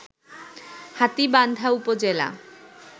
হাতীবান্ধা উপজেলা